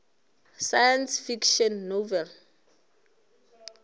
science fiction novel